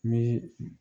Ni